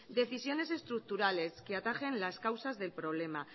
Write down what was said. decisiones estructurales que atajen las causas del problema